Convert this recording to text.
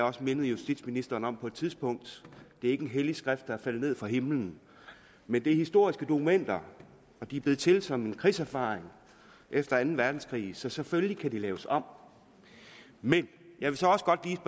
også mindet justitsministeren om på et tidspunkt det er ikke en hellig skrift der er faldet ned fra himlen men det er historiske dokumenter og de er blevet til som en krigserfaring efter anden verdenskrig så selvfølgelig kan de laves om men jeg vil så også godt lige